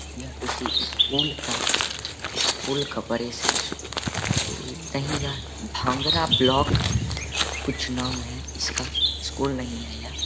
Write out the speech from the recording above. यह किसी स्कूल का स्कूल का परेशी स्कूल नहीं यह भांगरा ब्लाक कुछ नाम है। इसका स्कूल नहीं है यह ।